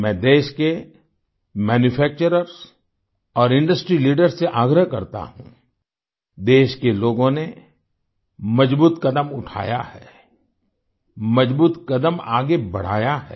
मैं देश के मैन्यूफैक्चर्स और इंडस्ट्री लीडर्स से आग्रह करता हूँ देश के लोगों ने मजबूत कदम उठाया है मजबूत कदम आगे बढ़ाया है